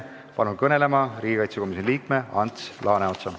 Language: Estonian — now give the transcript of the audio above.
Palun kõnelema riigikaitsekomisjoni liikme Ants Laaneotsa!